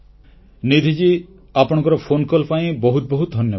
ନିଧି ମହଶୟା ଆପଣଙ୍କର ଫୋନକଲ୍ ପାଇଁ ବହୁତ ବହୁତ ଧନ୍ୟବାଦ